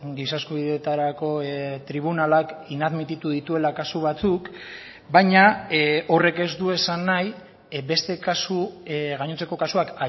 giza eskubideetarako tribunalak inadmititu dituela kasu batzuk baina horrek ez du esan nahi beste kasu gainontzeko kasuak